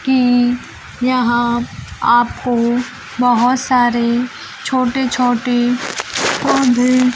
कि यहां आपको बहोत सारे छोटे-छोटे पौधे --